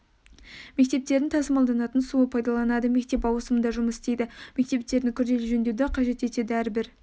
мектептердің тасымалданатын суды пайдаланады мектеп ауысымда жұмыс істейді мектептердің күрделі жөндеуді қажет етеді әрбір